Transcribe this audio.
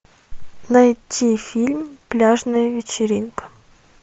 найти фильм пляжная вечеринка